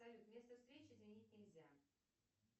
салют место встречи изменить нельзя